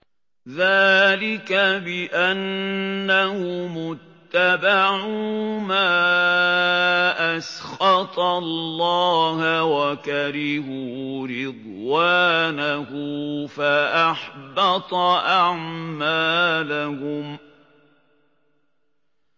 ذَٰلِكَ بِأَنَّهُمُ اتَّبَعُوا مَا أَسْخَطَ اللَّهَ وَكَرِهُوا رِضْوَانَهُ فَأَحْبَطَ أَعْمَالَهُمْ